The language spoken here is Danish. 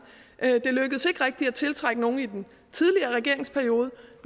det lykkedes ikke rigtig at tiltrække nogen i den tidligere regeringsperiode